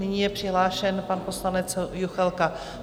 Nyní je přihlášen pan poslanec Juchelka.